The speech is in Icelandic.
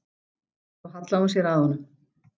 Svo hallaði hún sér að honum.